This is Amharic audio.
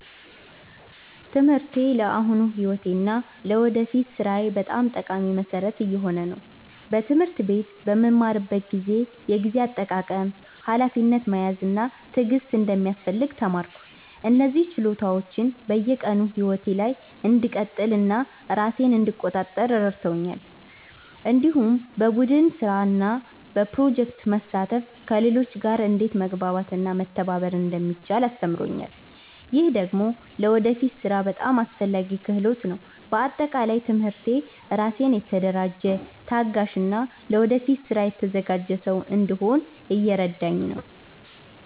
ትምህርቴ ለአሁኑ ሕይወቴ እና ለወደፊት ሥራዬ በጣም ጠቃሚ መሠረት እየሆነ ነው። በትምህርት ቤት በምማርበት ጊዜ የጊዜ አጠቃቀም፣ ሀላፊነት መያዝ እና ትዕግስት እንደሚያስፈልግ ተማርኩ። እነዚህ ችሎታዎች በየቀኑ ሕይወቴ ላይ እንድቀጥል እና ራሴን እንድቆጣጠር ረድተውኛል። እንዲሁም በቡድን ስራ እና በፕሮጀክቶች መሳተፍ ከሌሎች ጋር እንዴት መግባባት እና መተባበር እንደሚቻል አስተምሮኛል። ይህ ደግሞ ለወደፊት ሥራ በጣም አስፈላጊ ክህሎት ነው። በአጠቃላይ ትምህርቴ ራሴን የተደራጀ፣ ታጋሽ እና ለወደፊት ስራ የተዘጋጀ ሰው እንድሆን እየረዳኝ ነው።